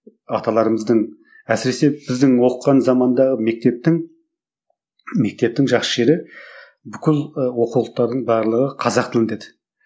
аталарымыздың әсіресе біздің оқыған заманда мектептің мектептің жақсы жері бүкіл ы оқулықтардың барлығы қазақ тілінде еді